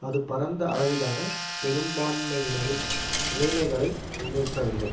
அது பரந்த அளவிலான பெரும்பான்மையினரின் நிலைமைகளை முன்னேற்றவில்லை